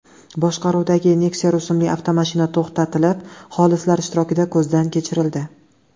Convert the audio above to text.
boshqaruvidagi Nexia rusumli avtomashina to‘xtatilib, xolislar ishtirokida ko‘zdan kechirildi.